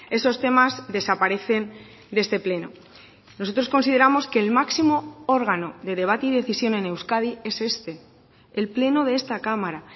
esos temas desaparecen de este pleno nosotros consideramos que el máximo órgano de debate y decisión en euskadi es este el pleno de esta cámara